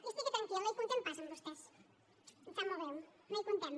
i estigui tranquil no hi comptem pas amb vostès em sap molt greu no hi comptem